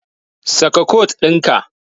Saka kot ɗinka.